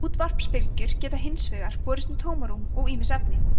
útvarpsbylgjur geta hins vegar borist um tómarúm og ýmis efni